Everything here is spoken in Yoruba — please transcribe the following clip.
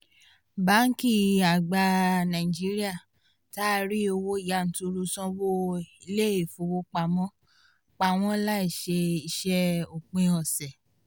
báńkì àgbà nàìjíríà taari owó yanturu sáwọn ilé ìfowópamọ́ páwọn láṣẹ iṣẹ́ òpin ọ̀sẹ̀